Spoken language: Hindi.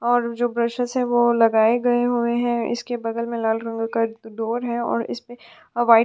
और जो ब्रशेस हैं वो लगाए गए हुए हैं इसके बगल में लाल रंग का डोर है और इसमें अ-वाईट --